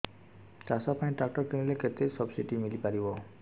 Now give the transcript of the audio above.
ଚାଷ ପାଇଁ ଟ୍ରାକ୍ଟର କିଣିଲେ କେତେ ସବ୍ସିଡି ମିଳିପାରିବ